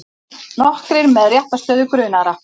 Nokkrir með réttarstöðu grunaðra